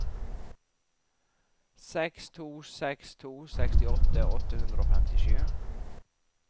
seks to seks to sekstiåtte åtte hundre og femtisju